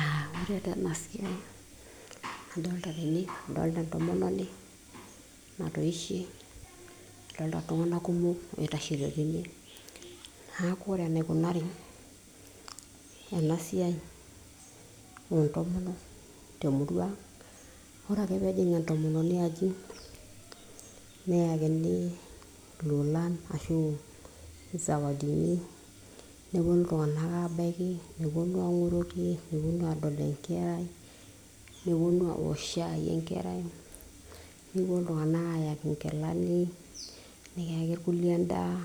uh, ore taa ena siai nadolta tene adolta entomononi natoishe adolta iltung'anak kumok oitashito tene naaku ore enaikunari ena siai oontomonok temurua ang ore ake peejing entomononi aji neyakini ilolan ashu isawadini neponu iltung'anak abaiki neponu ang'oroki neponu adol enkerai neponu awok shai enkerai nikiponu iltung'anak ayaki inkilani nikiyaki irkulie endaa